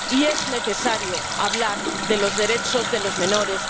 Y es necesario hablar de los derechos de los menores